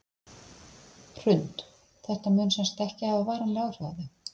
Hrund: Þetta mun sem sagt ekki hafa varanleg áhrif á þau?